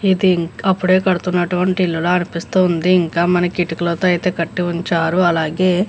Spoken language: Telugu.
ఇది అప్పుడే కడుతూ ఉన్నటువంటి ఇల్లు లా అనిపిస్తుంది ఇంకా మనకి ఇటుకలతో కట్టి ఉంచారు. అలాగే --